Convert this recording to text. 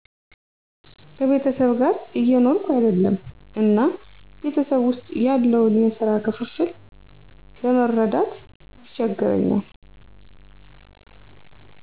ከቤተሰብ ጋር እየኖርኩ አይደለም እና ቤተሰብ ውስጥ ያለውን የሰራ ክፍፍል ለመረዳት ይቸግረኛል።